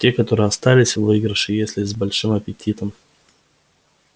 те которые остались в выигрыше если с большим аппетитом